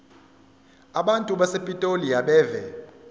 abantu basepitoli abeve